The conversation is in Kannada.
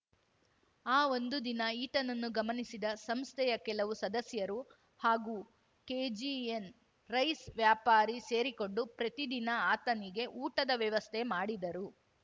ಆ ಒಂದು ದಿನ ಈತನನ್ನು ಗಮನಿಸಿದ ಸಂಸ್ಥೆಯ ಕೆಲವು ಸದಸ್ಯರು ಹಾಗೂ ಕೆಜಿಎನ್‌ ರೈಸ್‌ ವ್ಯಾಪಾರಿ ಸೇರಿಕೊಂಡು ಪ್ರತಿದಿನ ಆತನಿಗೆ ಊಟದ ವ್ಯವಸ್ಥೆ ಮಾಡಿದರು